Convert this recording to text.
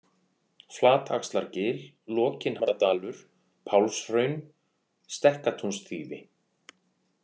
Flataxlargil, Lokinhamradalur, Pálshraun, Stekkatúnsþýfi